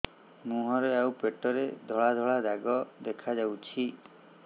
ମୁହଁରେ ଆଉ ପେଟରେ ଧଳା ଧଳା ଦାଗ ଦେଖାଯାଉଛି